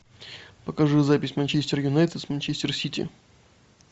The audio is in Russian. покажи запись манчестер юнайтед с манчестер сити